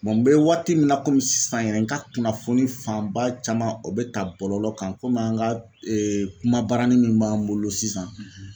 n bɛ waati min na komi sisan yɛrɛ n ka kunnafoni fanba caman o bɛ ta bɔlɔlɔ kan an ka kuma baranin min b'an bolo sisan